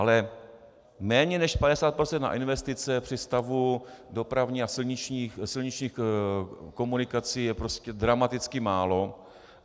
Ale méně než 50 % na investice při stavu dopravních a silničních komunikací je prostě dramaticky málo.